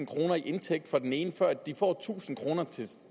kroner i indtægt for den ene før de får tusind kroner